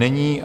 Není.